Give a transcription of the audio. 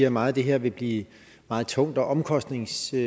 at meget af det her vil blive meget tungt og omkostningsfuldt